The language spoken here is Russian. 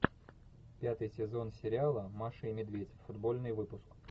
пятый сезон сериала маша и медведь футбольный выпуск